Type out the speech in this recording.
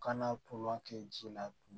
Kana kɛ ji la